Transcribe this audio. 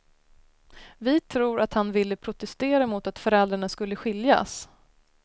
Vi tror att han ville protestera mot att föräldrarna skulle skiljas.